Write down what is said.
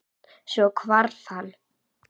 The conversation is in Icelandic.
Svo hvarf hann.